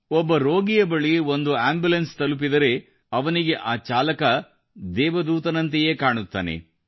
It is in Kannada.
ಒಬ್ಬ ರೋಗಿಯ ಬಳಿ ಒಂದು ಆಂಬುಲೆನ್ಸ್ ತಲುಪಿದರೆ ಅವನಿಗೆ ಆ ಚಾಲಕ ದೇವದೂತನಂತೆಯೇ ಕಾಣುತ್ತಾನೆ